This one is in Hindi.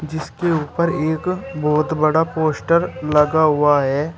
जिसके ऊपर एक बहोत बड़ा पोस्टर लगा हुआ है।